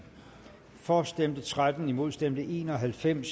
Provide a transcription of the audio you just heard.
for stemte tretten imod stemte en og halvfems